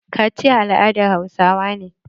Kaciya al'adan hausawa ne.